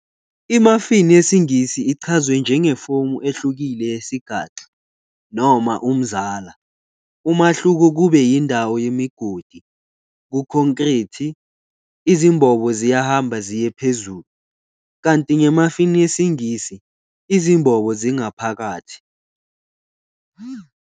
I-muffin yesiNgisi ichazwe njengefomu ehlukile yesigaxa, noma "umzala", umahluko kube yindawo yemigodi, kukhonkrithi, izimbobo ziyahamba ziye phezulu, kanti nge-muffin yesiNgisi, izimbobo zingaphakathi.